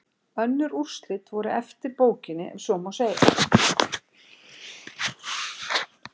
Önnur úrslit voru eftir bókinni ef svo má segja.